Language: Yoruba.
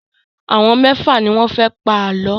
Àwọn mẹ́fà ni wọ́n fẹ́ pa àlọ́.